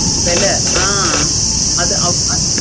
விலை ஆஹ் அது